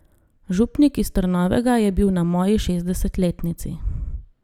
Župnik iz Trnovega je bil na moji šestdesetletnici.